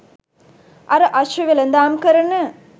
අර අශ්ව වෙළඳාම් කරන